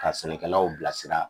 Ka sɛnɛkɛlaw bilasira